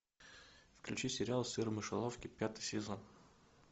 включи сериал сыр в мышеловке пятый сезон